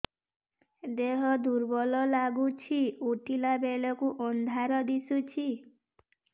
ଦେହ ଦୁର୍ବଳ ଲାଗୁଛି ଉଠିଲା ବେଳକୁ ଅନ୍ଧାର ଦିଶୁଚି